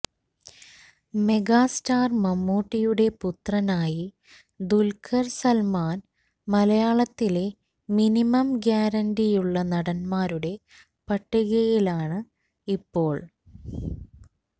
mega star മമ്മൂട്ടിയുടെ പുത്രനായി ദുൽഖർ സൽമാൻ മലയാളത്തിലെ മിനിമം ഗ്യാരണ്ടിയുള്ള നടന്മാരുടെ പട്ടികയിലാണ് ഇപ്പോൾ